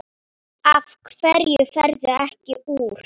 Af hverju ferðu ekki úr?